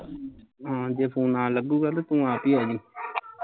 ਹਾਂ ਜੇ phone ਨਾ ਲੱਗੂਗਾ ਤੇ ਤੂੰ ਆਪੀ ਆਜੀ